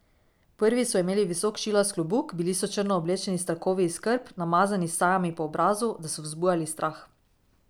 Prvi so imeli visok šilast klobuk, bili so črno oblečeni s trakovi iz krp, namazani s sajami po obrazu, da so vzbujali strah.